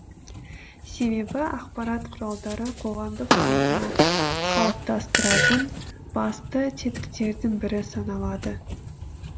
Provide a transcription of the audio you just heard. себебі ақпарат құралдары қоғамдық салтына қалыптастыратын басты тетіктердің бірі саналады